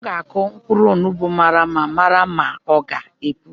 M ga akụ mkpụrụ onugbu mara ma ọ gá epu.